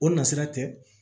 O na sira tɛ